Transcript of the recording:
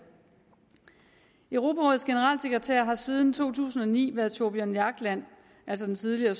europarådets generalsekretær har siden to tusind og ni været thorbjørn jagland altså den tidligere